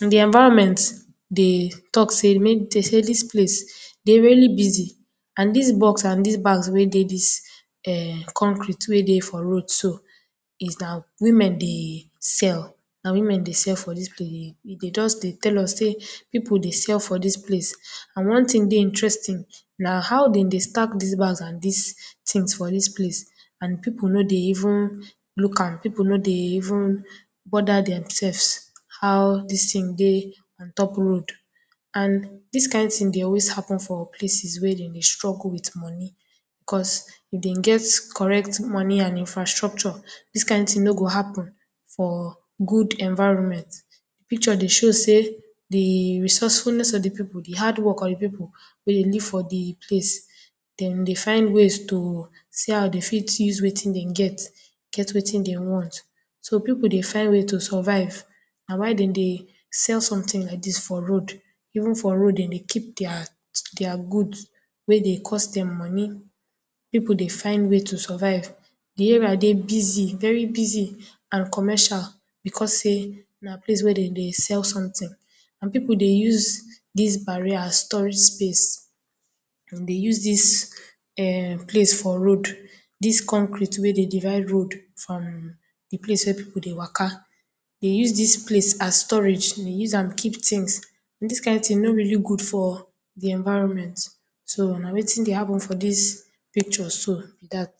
The environment dey talk say make, dey say dis place dey really busy and dis bag and box wey e dey dis um concrete for road so is that women dey sell, na women dey sell for dis place, dey just dey tell us us people dey sell for dis place and one tin dey interesting na how dem dry stack dis bag and dis tins for dis place and people no dey even look am, people no dey even bother themselves how dis tin dry on top road and this kind tin dry always happen for places wey dem dey struggle with money cos if dem get correct money and infrastructure dis kind tin no go happen for good environment. Picture dey show say di resourcefulness of di people, di hard work of di people wey dey live for di place dem dey find ways to see how dem fit use wetin dem get wetin dem want so people dey find way to survive na why dem dey sell something like dis for road even for road dem dey keep día good wey dey cost dem money, people dey find way to survive, di area dry busy, very busy and commercial because say na place wey dem dey sell something and people dey use dis barrier as store space and dey use dis um place for road, dis concrete wey dey divide road from di place wey people dey waka, ẹ use dis place as storage, e use am keep tins, dis kind tin no really good for environment so na wetin dey happen for dis picture so ni dat